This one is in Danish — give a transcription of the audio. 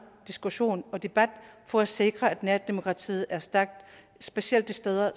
diskussion og debat for at sikre at nærdemokratiet er stærkt specielt de steder